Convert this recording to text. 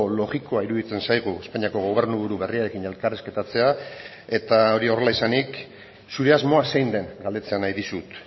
logikoa iruditzen zaigu espainiako gobernuburu berriarekin elkarrizketatzea eta hori horrela izanik zure asmoa zein den galdetzea nahi dizut